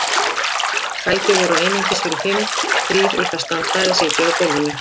Sæti voru einungis fyrir fimm- þrír urðu að standa eða sitja á gólfinu.